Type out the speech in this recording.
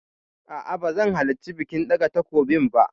A'a ba zan halarci bikin ɗaga takobin ba.